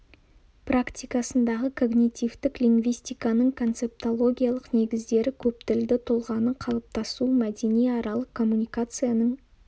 практикасындағы когнитивтік лингвистиканың концептологиялық негіздері көптілді тұлғаның қалыптасуы мәдениаралық коммуникацияның